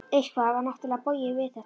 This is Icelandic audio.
Eitthvað var náttúrlega bogið við þetta.